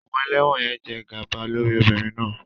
Àwọn ẹlẹ́wọ̀n yẹn jẹ gàba lórí obìnrin náà